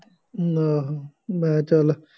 ਆਹੋ ਮੈਂ ਕਿਹਾ ਚੱਲ